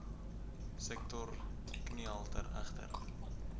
sektor kniehalter egter